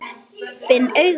Finn augun.